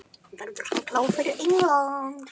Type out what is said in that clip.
Verður hann klár fyrir England?